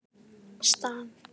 Stað